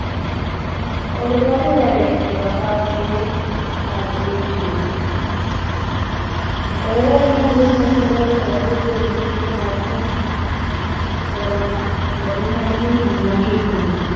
ഒരുപാടുപേരെ രോഗാവസ്ഥയിൽ കിടത്തുകയും ചെയ്തു. വളരെ അധികം ബുദ്ധിമുട്ടുകൾ അവരുടെ കുടുംബത്തിനും അവർക്കും corona കോവിഡ് nineteen ഉണ്ടാക്കിയിട്ടുണ്ട്.